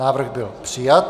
Návrh byl přijat.